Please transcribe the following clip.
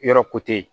Yɔrɔ